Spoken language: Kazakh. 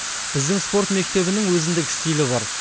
біздің спорт мектебінің өзіндік стилі бар